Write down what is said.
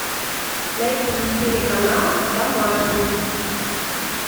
найди телеканал домашний